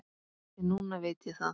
En núna veit ég það.